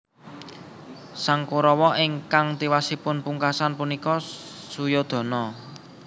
Sang Korawa ingkang tiwasipun pungkasan puniku Suyodana